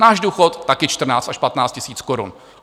Náš důchod taky 14 až 15 tisíc korun.